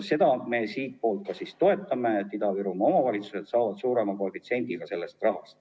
Seda me siitpoolt ka toetame, Ida-Virumaa omavalitsused saavad sellest rahast osa suurema koefitsiendiga.